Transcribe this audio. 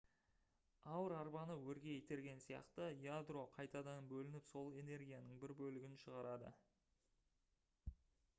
ауыр арбаны өрге итерген сияқты ядро қайтадан бөлініп сол энергияның бір бөлігін шығарады